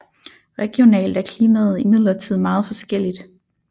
Regionalt er klimaet imidlertid meget forskelligt